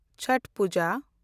ᱪᱷᱚᱴ ᱯᱩᱡᱟ